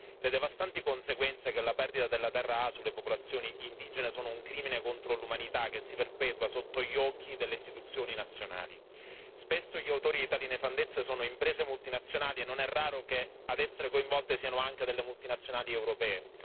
Le devastanti conseguenze che provoca la perdita della terra per le popolazioni indigene sono un crimine contro l'umanità che si perpetua sotto gli occhi delle istituzioni nazionali spesso gli autori di tali nefandezze sono imprese multinazionali e non è raro che a essere coinvolte siano anche delle multinazionali europee.